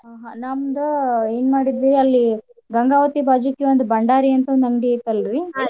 ನಮ್ದ ಎನ್ ಮಾಡಿದ್ವಿ ಅಲ್ಲಿ ಗಂಗಾವತಿ ಬಾಜೂಕ ಒಂದ್ ಬಂಡಾರಿ ಅಂತ್ ಅಂಗ್ಡಿ ಐತೆಲ್ರಿ .